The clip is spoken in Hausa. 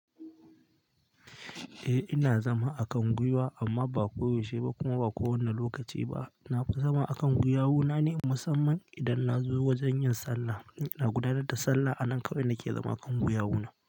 Eh ina zama a kan gwiwa amma ba koyaushe ba kuma ba kowane lokaci ba. Na fi zama a kan gwiya wuna ne musamman idan na zo wajen yin sallah. In ina gudanar da sallah a nan kawai nake zama kan gwiya wuna.